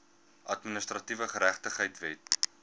administratiewe geregtigheid wet